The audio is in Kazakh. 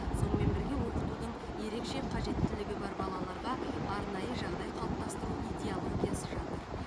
сонымен бірге оқытудың ерекше қажеттілігі бар балаларға арнайы жағдай қалыптастыру идеологиясы жатыр